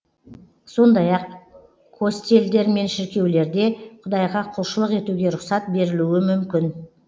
сондай ақ костелдер мен шіркеулерде құдайға құлшылық етуге рұқсат берілуі мүмкін